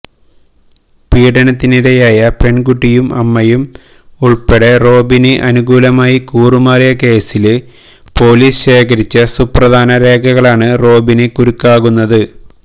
പീഡനത്തിനിരയായ പെണ്കുട്ടിയും അമ്മയും ഉള്പ്പെടെ റോബിന് അനുകൂലമായി കൂറുമാറിയ കേസില് പോലീസ് ശേഖരിച്ച സുപ്രധാന രേഖകളാണ് റോബിന് കുരുക്കാകുന്നത്